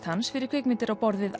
hans fyrir kvikmyndir á borð við